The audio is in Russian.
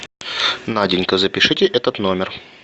наденька запишите этот номер